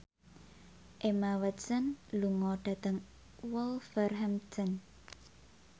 Emma Watson lunga dhateng Wolverhampton